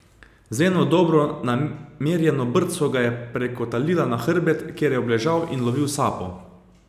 Z eno dobro namerjeno brco ga je prekotalila na hrbet, kjer je obležal in lovil sapo.